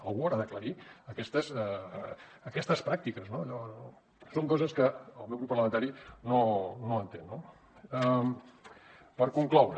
algú haurà d’aclarir aquestes pràctiques no són coses que el meu grup parlamentari no entén no per concloure